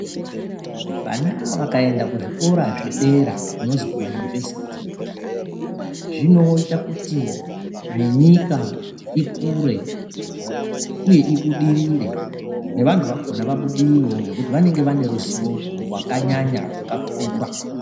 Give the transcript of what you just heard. Vana vakaenda kuzvikora zvedera kunozi kumayunivhesiti, zvinoita kuti nenyika ikure, uye ibudirire, nevantu vakhona vabudirirewo nekuti vanenga vane ruzivo wakanyanya rwakakura .